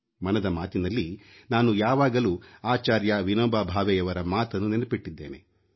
ಮನದ ಮಾತಿನಲ್ಲಿ ನಾನು ಯಾವಾಗಲೂ ಆಚಾರ್ಯ ವಿನೋಭಾ ಭಾವೆಯವರ ಮಾತನ್ನು ನೆನಪಿಟ್ಟಿದ್ದೇನೆ